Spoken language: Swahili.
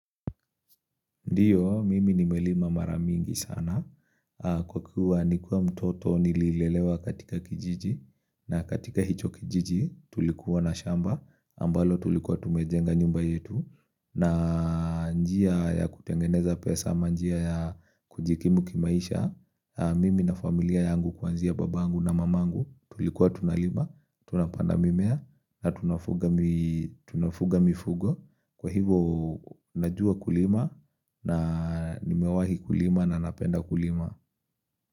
Ndiyo, mimi nimelima mara mingi sana, kwa kuwa nikiwa mtoto nililelewa katika kijiji, na katika hicho kijiji tulikuwa na shamba, ambalo tulikuwa tumejenga nyumba yetu, na njia ya kutengeneza pesa, ama njia ya kujikimu kimaisha, mimi na familia yangu kuanzia babangu na mamangu, tulikuwa tunalima, tunapanda mimea, na tunafuga mifugo. Kwa hivo najua kulima na nimewahi kulima na napenda kulima.